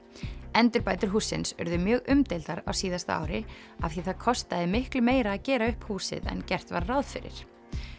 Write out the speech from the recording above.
endurbætur hússins urðu mjög umdeildar á síðasta ári af því það kostaði miklu meira að gera upp húsið en gert var ráð fyrir